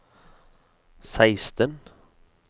seksten